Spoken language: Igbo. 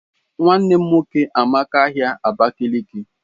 Nwannem nwoke amaka ahia Abakiliki.